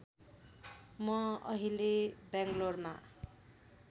म अहिले बैँगलौरमा